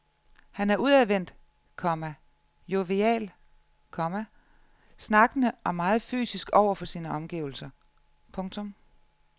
Han er udadvendt, komma jovial, komma snakkende og meget fysisk over for sine omgivelser. punktum